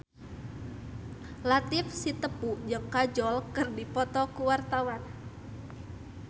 Latief Sitepu jeung Kajol keur dipoto ku wartawan